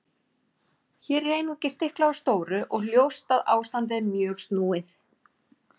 Hér er einungis stiklað á stóru og ljóst að ástandið er mjög snúið.